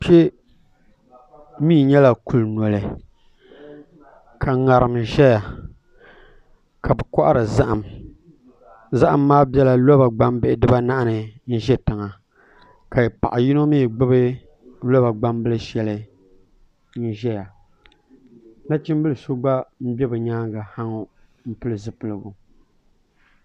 Kpɛ mii nyɛla kuli noli ka ŋarim ʒɛya ka bi kohari zaham zaham maa biɛla loba gbambihi dibanahi ni n ʒɛ tiŋa ka paɣa yino mii gbubi loba gbambili shɛli n ʒɛya nachimbili so gba mii n ʒɛ bi nyaangi ha ŋɔ n pili zipiligu